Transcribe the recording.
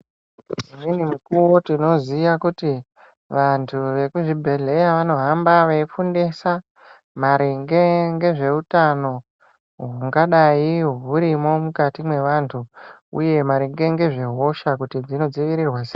Dzimweni mukuwo tinoziya kuti vanhu vekuzvibhehleya vanohamba veifundisa maringe ngezveutano hungadai hurimwo mukati mwevantu uye maringe ngezvehosha kuti dzinodzivirirwa sei.